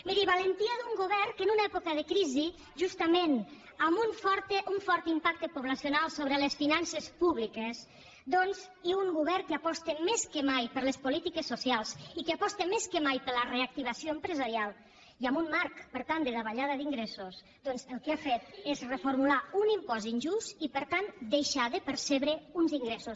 miri valentia d’un govern que en una època de crisi justament amb un fort impacte poblacional sobre les finances públiques i un govern que aposta més que mai per les polítiques socials i que aposta més que mai per la reactivació empresarial i amb un marc per tant de davallada d’ingressos doncs el que ha fet és reformular un impost injust i per tant deixar de percebre uns ingressos